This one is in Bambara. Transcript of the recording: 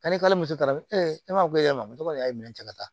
Ka n'i ka muso ta ne b'a fɔ ko e ma ko y'a ye minɛn cɛ ka taa